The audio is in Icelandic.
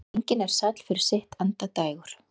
Engin er sæll fyrir sitt endadægur.